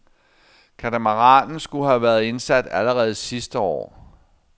Katamaranen skulle have været indsat allerede sidste år.